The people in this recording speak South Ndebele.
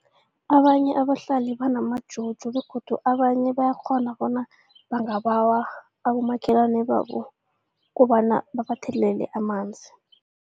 Abanye abahlali banamajojo begodu abanye bayakghona bona bangabawa abomakhelwane babo kobana babathelele amanzi.